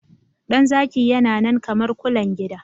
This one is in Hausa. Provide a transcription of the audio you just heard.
Dan zaki yana nan kamar kulen gida